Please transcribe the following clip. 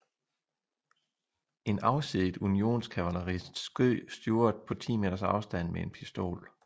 En afsiddet Unionskavalerist skød Stuart på 10 meters afstand med en pistol